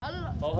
Həllə!